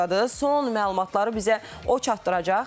Son məlumatları bizə o çatdıracaq.